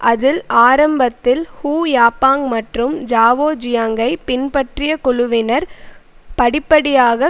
அதில் ஆரம்பத்தில் Hu Yaobang மற்றும் ஜாவோ ஜியாங்கை பின்பற்றிய குழுவினர் படிப்படியாக